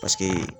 Paseke